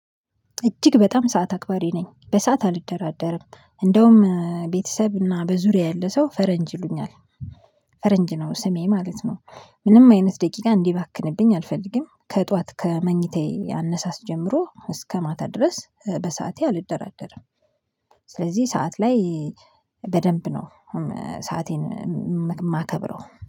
እጅግ በጣም ሰዓት አክባሪ ነኝ በሰአት አልደራደርም እንደውም ቤተሰብ እና በዙሪያዬ ያለ ሰው ፈረንጅ ይሉኛል። ፈረንጅ ነው ስሜ ማለት ነው። ምንም አይነት ደቂቃ እንዲባክንብኝ አልፈልግም። ከጧት ከመኝታዬ አነሳስ ጀምሮ እስከ ማታ ድረስ በሰአቴ አልደራደርም። ስለዚህ ሰዓት ላይ በደንብ ነው ሰአቴን የማከብረው